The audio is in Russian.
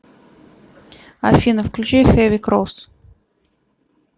афина включи хэви крос